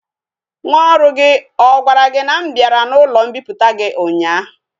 Nwa oru gi a gwara gi na m biara na ulo mpiputa gi unya?